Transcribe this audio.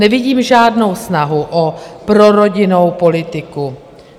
Nevidím žádnou snahu o prorodinnou politiku.